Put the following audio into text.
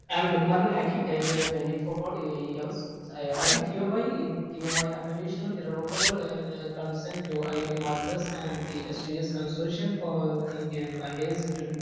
E am Lukman Hakim age to 24 years do here give my unconditional irrevocable consent to IIT Madras and സ്‌2സ്‌ consortium for Indian languages.